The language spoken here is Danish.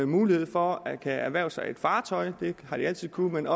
mulighed for at kunne erhverve sig et fartøj det har de altid kunnet